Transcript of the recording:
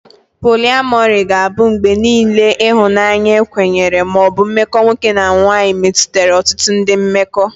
Poliamori ga-abụ mgbe niile ihunanya ekwenyere ma ọ bụ mmekọ nwoke na nwanyị metụtara ọtụtụ ndị mmekọ.